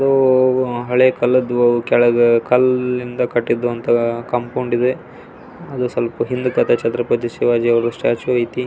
So ಹಳೇಕಾಲದ್ದು ಕೆಳಗೆ ಕಲ್ಲಿಂದ ಕಟ್ಟಿದು ಕಾಂಪೌಂಡ್ ಇದೆ ಅದು ಸ್ವಲ್ಪ ಹಿಂದೆ ಶತ್ರಪತಿ ಶಿವಾಜಿ ಸ್ಟ್ಯಾಚು ಐತೆ.